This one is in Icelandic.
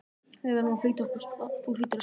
Við verðum að flýta okkur, þú hlýtur að skilja það.